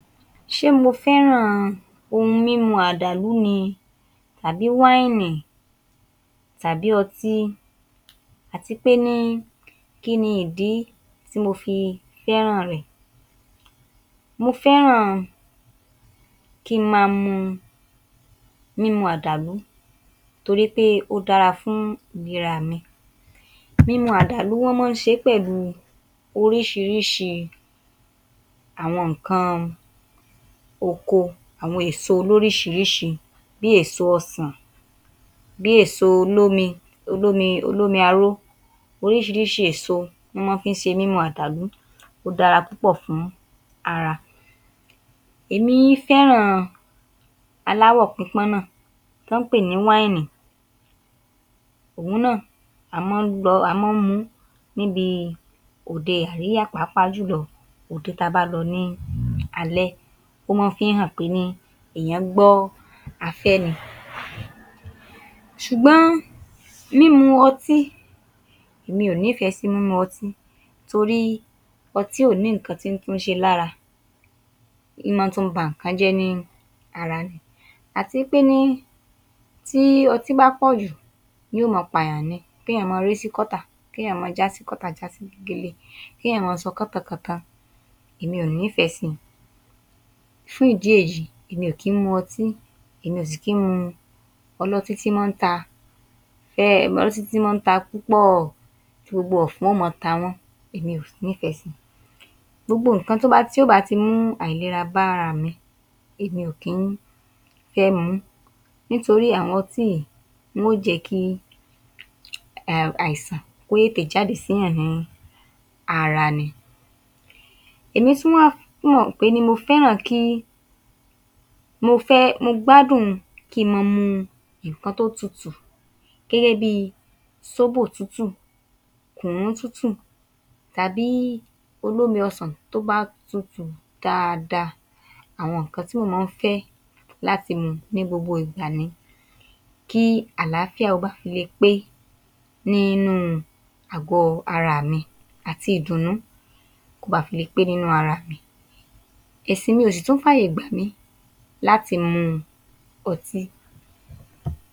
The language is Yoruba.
Ṣé mo fẹ́ràn ohun mímu àdàlú ni tàbí wáìnì tàbí ọtí àti pé ní kí ni ìdí tí mo fi fẹ́ràn rẹ̀. Mo fẹ́ràn kí n máa mu mímu àdàlú, torí pé ó dára fún ìlera mi. Mímu àdàlú wọ́n máa ń ṣe é pẹ̀lú orísirísi àwọn nǹkan oko àwọn èso lóríṣiríṣi, bíi èso ọsàn, bíi èso olómi olómi olómi aró, orísirísi èso ná mọ́ ọn ń fi ṣe mímu àdàlú, ó dára púpọ̀ fún ara. Èmi fẹ́ràn aláwò pípọ́n náà, tán ń pè ní wáìnì, òhun náà a máa ń a máa ń mu ún níbi òde aríyá, pàápàá jùlọ òde ta bá lọ ní alẹ́, ó máa ń fií hàn pé ní èèyàn gbọ́ afẹ́ ni. ṣùgbọ́n mímu ọtí, èmi ò nífẹ̀ẹ́ sí mímu ọtí, torí ọtí ò ní nǹkan tí ń túnṣe lára, ń máa tún ba nǹkan jẹ́ ní ara ni. Àti í pé ní tí ọtí bá pọ̀jù, yóò máa pààyàn ni, kéèyàn máa ré sí gọ́tà, kéèyàn máa já sí gọ́tà, já sí gegele, kéèyàn máa sọ kántankàntan, èmi ò nífẹ̀ẹ́ sí i. Fún ìdí èyí, èmi ò kí ń mu ọtí, èmi ò sì kí ń mu ọlọ́tí tí ń máa ń ta ọlọ́tí tí ń máa ń ta púpọ̀, tí gbogbo ọ̀fun ó máa ta wọn, èmi ò nífẹ̀ẹ́ sí i. Gbogbo nǹkan tó bá ti, tí ó bá ti mú àìlera bá ara mi, èmi ò kí ń fẹ́ mu ún, nítorí àwọn ọtí yìí wọn ó jẹ́ kí um àìsàn kó tètè jáde síyàn ní ara ni. Èmi tún wá mo fẹ́ràn kí mo fẹ́ mo gbádùn kí n mọ́ ọ mu nǹkan tó tutù, gẹ́gẹ́ bíi sóbò tútù, kùnnú tútù, tábì olómi ọsàn tó bá tutù dáadáa. Àwọn nǹkan tí mo máa ń fẹ́ lati mu ní gbogbo ìgbà ni, kí àlàáfíà ó ba le pé nínú àgọ́ ara mi, àti ìdùnnú kó ba fi lé pé nínú ara mi. Ẹ̀sìn mi ò sì tún fààyè gbà mí láti mu ọtí.